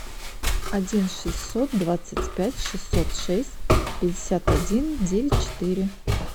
один шестьсот двадцать пять шестьсот шесть пятьдесят один девять четыре